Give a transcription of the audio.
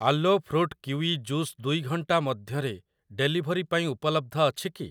ଆଲୋ fruit kiwi juice ଦୁଇ ଘଣ୍ଟାମଧ୍ୟରେ ଡେଲିଭରି ପାଇଁ ଉପଲବ୍ଧ ଅଛି କି?